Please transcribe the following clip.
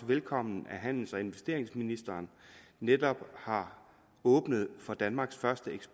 velkommen at handels og investeringsministeren netop har åbnet for danmarks første